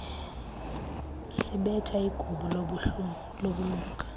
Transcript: sibetha igubu lobulunga